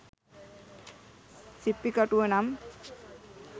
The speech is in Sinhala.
සිප්පි කටුව නම්